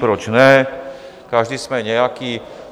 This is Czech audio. Proč ne, každý jsme nějaký.